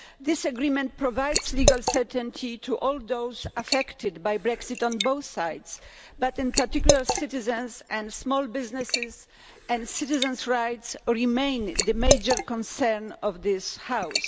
this agreement provides legal certainty to all those affected by Brexit, on both sides, but in particular citizens and small businesses and citizens' rights remain the major concern of this House.